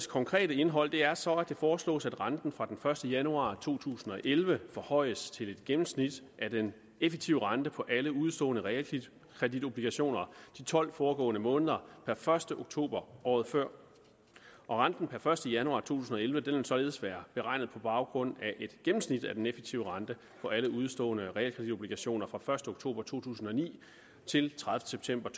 konkrete indhold er så at det foreslås at renten fra den første januar to tusind og elleve forhøjes til et gennemsnit af den effektive rente på alle udestående realkreditobligationer de tolv foregående måneder per første oktober året før renten per første januar to tusind og elleve vil således være beregnet på baggrund af et gennemsnit af den effektive rente på alle udestående realkreditobligationer fra første oktober to tusind og ni til tredivete september